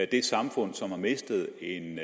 det samfund som har mistet en